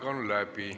Aeg on läbi.